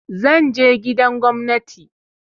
Zan je gidan gwamnati.